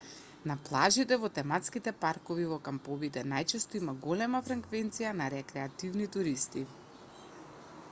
на плажите во тематските паркови и во камповите најчесто има голема фреквенција на рекреативни туристи